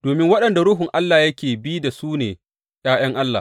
Domin waɗanda Ruhun Allah yake bi da su ne ’ya’yan Allah.